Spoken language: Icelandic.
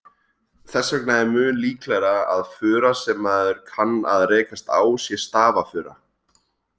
Þess vegna er mun líklegra að fura sem maður kann að rekast á sé stafafura.